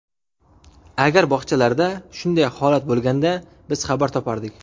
Agar bog‘chalarda shunday holat bo‘lganda, biz xabar topardik.